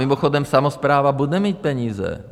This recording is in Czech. Mimochodem samospráva bude mít peníze.